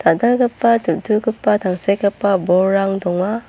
dal·dalgipa diltugipa tangsekgipa bolrang donga.